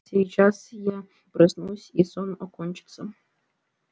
сейчас я проснусь и сон окончится